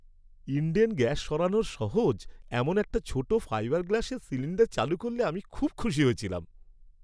Indane gas সরানো সহজ এমন একটা ছোট ফাইবার গ্লাসের সিলিণ্ডার চালু করলে আমি খুব খুশি হয়েছিলাম।